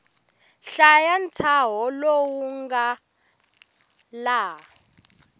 hlaya ntshaho lowu nga laha